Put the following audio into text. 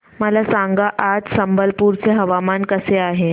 मला सांगा आज संबलपुर चे हवामान कसे आहे